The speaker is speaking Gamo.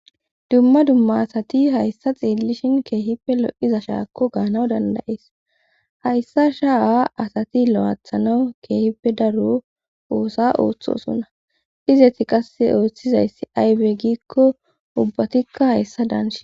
dumma dumma asati hayssa xeellishin keehippe lo7iza shaakko gaanaw dandayees hayssa sha7a asati lo7athanawu keehippe daro oosa ooththosona izeti qasse ooththizayssi aybe giikko ubbatikka hayssa daanshin